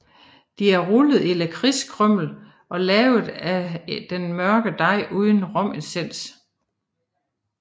De er rullet i lakridskrymmel og lavet af den mørke dej uden romessens